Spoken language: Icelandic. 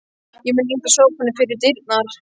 Ég mun ýta sófanum fyrir dyrnar.